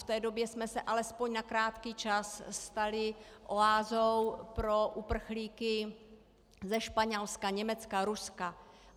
V té době jsme se alespoň na krátký čas stali oázou pro uprchlíky ze Španělska, Německa, Ruska.